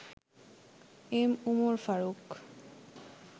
M. Umar Faruk